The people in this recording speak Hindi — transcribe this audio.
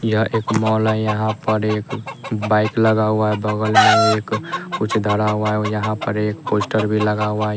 यह एक मॉल है यहाँ पर एक बाइक लगा हुआ है बगल में एक कुछ धरा हुआ है यहाँ पर एक पोस्टर भी लगा हुआ है।